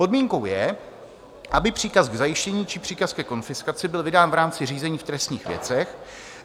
Podmínkou je, aby příkaz k zajištění či příkaz ke konfiskaci byl vydán v rámci řízení v trestních věcech.